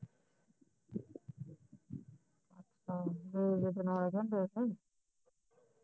ਹਾਂ